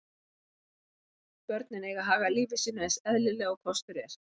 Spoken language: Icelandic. Börnin eiga að haga lífi sínu eins eðlilega og kostur er.